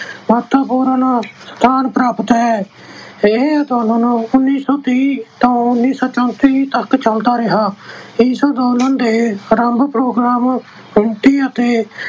ਮਹੱਤਵਪੂਰਨ ਸਥਾਨ ਪ੍ਰਾਪਤ ਹੈ। ਇਹ ਅੰਦੋਲਨ ਉਨੀਂ ਸੌ ਤੀਹ ਤੋਂ ਉਨੀਂ ਸੌਂ ਚੌਂਨਤੀ ਤੱਕ ਚੱਲਦਾ ਰਿਹਾ। ਇਸ ਅੰਦੋਲਨ ਦੇ ਅਰੰਭ program ਅਤੇ